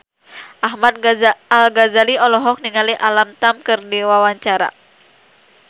Ahmad Al-Ghazali olohok ningali Alam Tam keur diwawancara